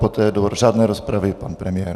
Poté do řádné rozpravy pan premiér.